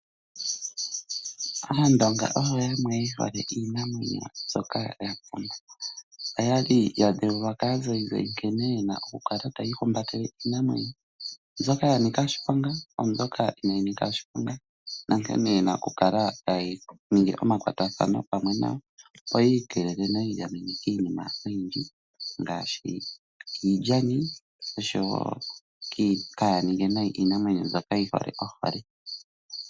Aandonga oyo yamwe yehole iinamwenyo, mbyoka ya pumba. Oya li ya dhewulwa kaazayizayi nkene yena okukala tayi ihumbatele iinamwenyo mbyoka ya nika oshipanga naambyoka inaayi nika oshiponga nkene yena okukala taya ningi omakwatathano pamwe nayo opo yi ikeelele nokwiigamena kiinima oyindji ngaashi iilyani mbyoka yehole naambyoka yaahole.